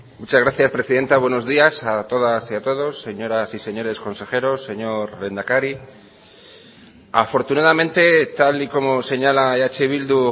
muchas gracias presidenta buenos días a todas y a todos señoras y señores consejeros señor lehendakari afortunadamente tal y como señala eh bildu